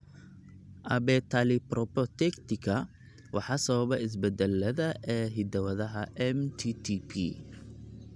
Abetalipoproteitika waxaa sababa isbeddellada (isbeddellada) ee hidda-wadaha MTTP.